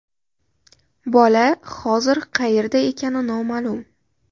Bola hozir qayerda ekani noma’lum.